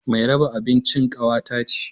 Mai raba abincin kawata ce